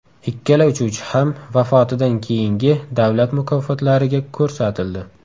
Ikkala uchuvchi ham vafotidan keyingi davlat mukofotlariga ko‘rsatildi.